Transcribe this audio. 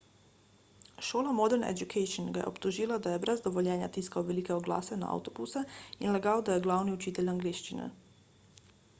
šola modern education ga je obtožila da je brez dovoljenja tiskal velike oglase na avtobuse in lagal da je glavni učitelj angleščine